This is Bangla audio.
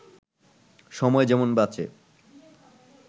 সময় যেমন বাঁচে